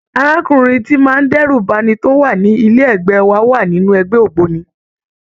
Arákùnrin tíì ń má dẹ́rù ba'ni tó wà ní ilé ẹ̀gbẹ́ wa wà nínú ẹgbẹ́ ògbóni.